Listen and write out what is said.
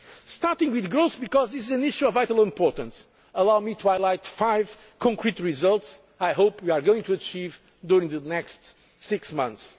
Starting with growth, because this is an issue of vital importance, allow me to highlight five concrete results that I hope we are going to achieve during the next six months.